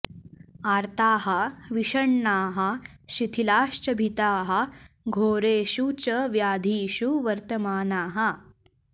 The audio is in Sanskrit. आर्ताः विषण्णाः शिथिलाश्च भीताः घोरेषु च व्याधिषु वर्तमानाः